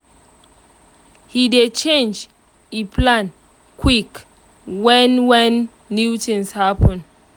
he dey change e plan quick when when new things happen